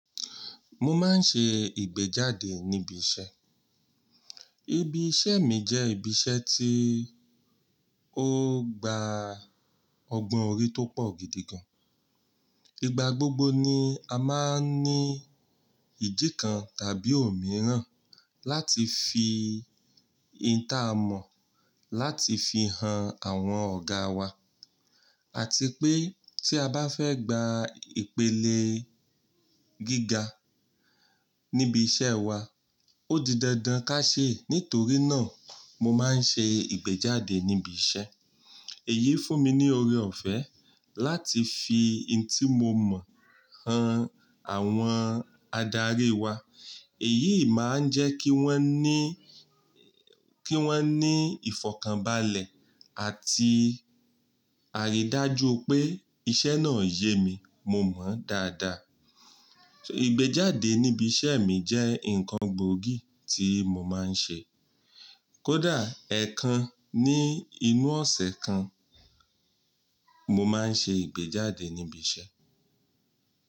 Mo máa ń ṣe ìgbéjáde níbi iṣẹ́. Ibi iṣẹ́ mi jẹ́ ibi iṣẹ́ tí ó gba ọgbọ́n orí tó pọ̀ gidi gan. Igba gbogbo ni a máa ń ní ìdí kan tàbí òmíràn láti fi inta a mọ̀ láti fi han àwọn ọ̀gáa wa. Àti pé tí a bá fẹ́ gba ìpele gíga níbi iṣẹ́ wa, ó di dandan ká ṣe. Nítorí náà mo máa ń ṣe ìgbéjáde níbi iṣẹ́. Èyí fún mi ní oore ọ̀fẹ́ láti fi intí mo mọ̀ han àwọn adarí wa. Èyí máa ń jẹ́ kí wọ́n ní, kí wọ́n ní ìfọ̀kànbalẹ̀ àti àrídájú pé iṣẹ́ náà yemi, mo mọ̀ ọ́n dáadáa. Ìgbéjáde níbi iṣẹ́ mi jẹ́ nǹkan gbòógì tí mo máa ń ṣe. Kódà ẹ̀kan ní inú ọ̀sẹ̀ kan, mo máa ń ṣe ìgbéjáde níbi iṣẹ́.